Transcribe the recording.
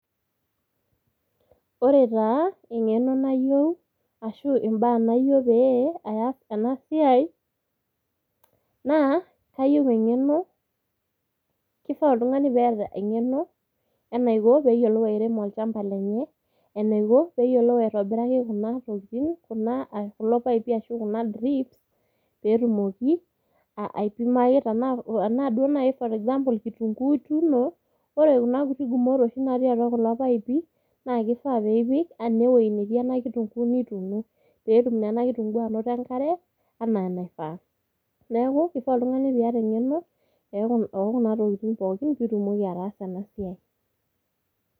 Ore taa eng'eno nayieu ashu mbaa nayieu pee aas ena siai, naa Kayieu eng'eno, kifaa oltungani peeta eng'eno enaiko pee eyiolou airemok olchampa lenye, enaiko, peeyiolou aitobiraki Kuna tokitin kuna, kulo paaipi ashu Kuna drips peetumoki aipimaki tenqa duoo naaji, for example kitunkuu ituuno, ore Kuna kuti gumoto oshi natii kulo paaipi, naa kifaa pee ipek ene wueji netii ena kitunkuu, nituuno, peetum naa ena kitunkuu anoto enkare anaa enaifaa. neeku kifaa oltungani pee iyata engeno. oo Kuna tokitin pookin pee itumoki ataasa ena siai.